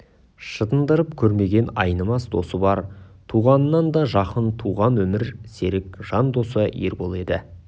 шытындырып көрмеген айнымас досы бар туғаннан да жақын туған өмір серік жан досы ербол еді